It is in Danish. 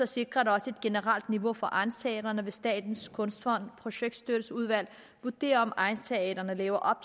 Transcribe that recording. sikrer det også et generelt niveau for egnsteatrene ved at statens kunstfonds projektstøtteudvalg vurderer om egnsteatrene lever